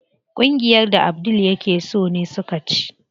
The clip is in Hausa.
Kungiyar da Abdul yake so ne suka ci.